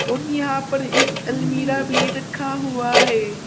और यहां पर एक अलमीरा भी रखा हुआ है।